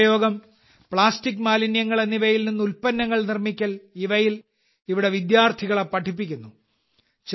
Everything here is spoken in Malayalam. പുനരുപയോഗം പ്ലാസ്റ്റിക് മാലിന്യങ്ങൾ എന്നിവയിൽ നിന്ന് ഉൽപ്പന്നങ്ങൾ നിർമ്മിക്കൽ ഇവയിൽ ഇവിടെ വിദ്യാർത്ഥികളെ പഠിപ്പിക്കുന്നു